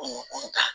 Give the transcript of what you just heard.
Kungo kɔnɔ ta